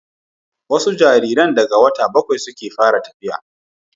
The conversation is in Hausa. wasu jaririn daga wata bakwai suke fara tafiya